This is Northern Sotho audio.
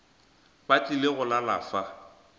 ba tlile go lala fa